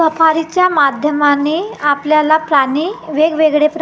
सफारीच्या माध्यमाने आपल्याला प्राणी वेगवेगळे--